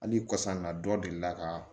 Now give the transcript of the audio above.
Hali kɔsa in na dɔ delila ka